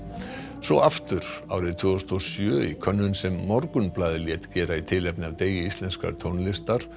svo aftur árið tvö þúsund og sjö í könnun sem Morgunblaðið lét gera í tilefni af degi íslenskrar tónlistar